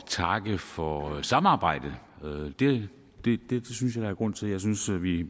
takke for samarbejdet det synes jeg grund til jeg synes at vi i